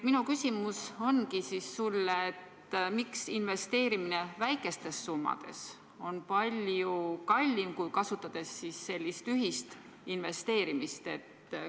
Minu küsimus sulle ongi: miks investeerimine väikestes summades on palju kallim, kui kasutades sellist ühist investeerimist?